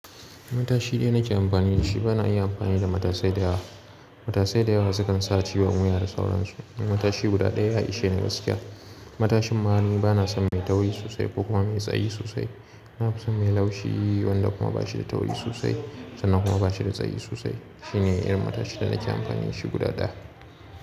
Matashi ɗaya nake amfani da shi, bana iya amfani da matasai da yawa. Matasai da yawa sukan sa ciwon wuya da sauransu. Matashi guda ɗaya ya ishe ni gaskiya. Matashin ma ni bana son mai tauri sosai ko kuma mai tsayi sosai. Na fi son mai laushi wanda kuma ba shi da tauri sosai sannan kuma ba shi da tsayi sosai. Shi ne irin matashin da nake amfani da shi guda ɗaya.